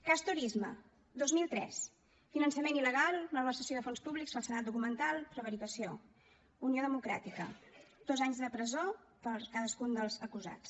cas turisme dos mil tres finançament il·legal malversació de fons públics falsedat documental prevaricació unió democràtica dos anys de presó per a cadascun dels acusats